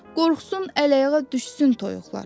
Qorxsun əl-ayağa düşsün toyuqlar.